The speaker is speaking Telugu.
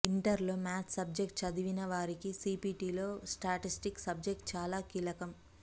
ఇంటర్లో మేథ్స్ సబ్జెక్టు చదవనివారికి సీపీటీలో స్టాటిస్టిక్స్ సబ్జెక్టు చాలా కీలకం